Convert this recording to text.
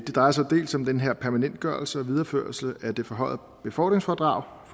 drejer sig dels om den her permanentgørelse og videreførelse af det forhøjede befordringsfradrag